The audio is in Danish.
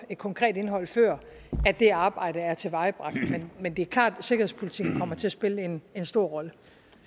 et konkret indhold førend det arbejde er tilvejebragt men det er klart at sikkerhedspolitik kommer til at spille en en stor rolle